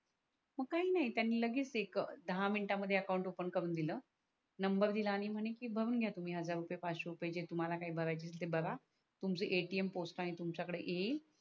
मग काही नाही त्यांनी लगेच ते दहा मिनिटं मध्ये अकाउंट ओफन करून दिल नंबर दिल आणि म्हणे की भरून घ्या तुम्ही हजार रूपेय पाचसे रूपेय जे तुम्हाला काही भराचे असेल ते भरा तुमच atm पोस्ट णी तुमच्या कडे येईल.